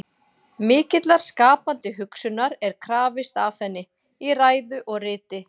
Mikillar skapandi hugsunar er krafist af henni, í ræðu og riti.